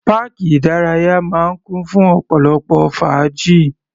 Páàkì ìdárayá máa ń kún fún ọ̀pọ̀lọpọ̀ fàájì.